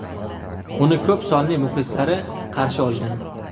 Uni ko‘p sonli muxlislari qarshi olgan .